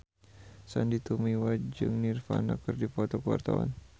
Sandy Tumiwa jeung Nirvana keur dipoto ku wartawan